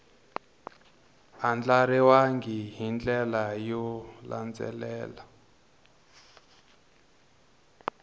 andlariwangi hi ndlela yo landzelela